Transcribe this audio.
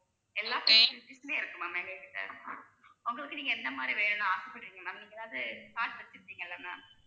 எல்லா facilities உமே இருக்கு ma'am எங்ககிட்ட. உங்களுக்கு நீங்க எந்த மாதிரி வேணும்ன்னு ஆசைப்படுறீங்க ma'am நீங்க எதாவது card வச்சிருப்பிங்கல்ல ma'am